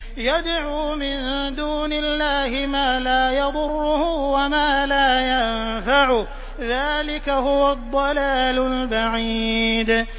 يَدْعُو مِن دُونِ اللَّهِ مَا لَا يَضُرُّهُ وَمَا لَا يَنفَعُهُ ۚ ذَٰلِكَ هُوَ الضَّلَالُ الْبَعِيدُ